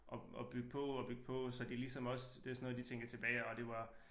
Og og bygge på og bygge på så de ligesom også det sådan noget de tænker tilbage ej det var